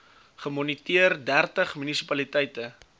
gemoniteer dertig munisipaliteite